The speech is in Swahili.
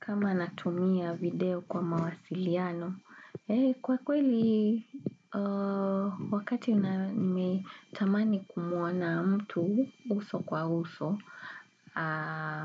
Kama natumia video kwa mawasiliano, kwa kweli wakati nimetamani kumuona mtu uso kwa uso,